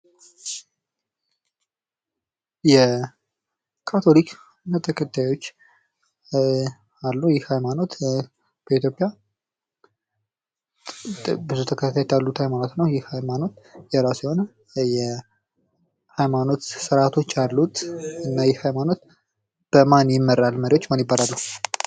የካቶሊክ ሃይማኖት ብዙ ተከታዮች ያሉት ሲሆን መሪዎች ማን ይባላሉ?